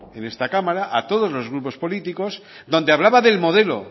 en esta cámara a todos los grupos políticos donde hablaba del modelo